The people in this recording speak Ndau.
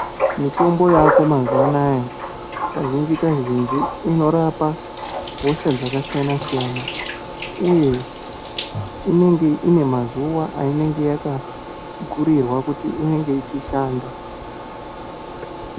Mitombo yako mazuvana kazhinji kazhinji inorapa hosha dzakasiyana siyana uye inenge ine mazuva ayinenge yakagurirwa kuti inenge ichishanda.